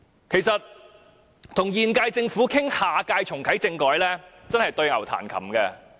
其實，與現屆政府商討下屆重啟政改，都是對牛彈琴。